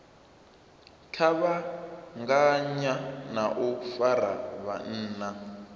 kuvhanganya na u fara vhunna